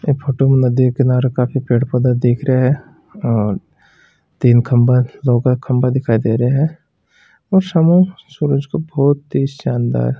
ई photo नदी किनारे काफी पेड़ पौधे दिख रहे है और तीन खम्भा नौका खम्भा दिखाई दे रहे है और सामो सूरज को बहुत ही शानदार--